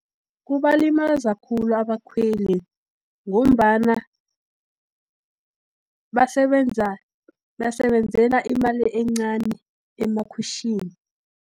Kubalimaza khulu abakhweli, ngombana basebenzela imali encani, emakhwitjhini.